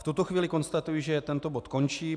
V tuto chvíli konstatuji, že tento bod končí.